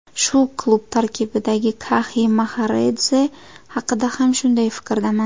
Shu klub tarkibidagi Kaxi Maxaradze haqida ham shunday fikrdaman.